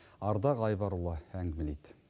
ардақ айбарұлы әңгімелейді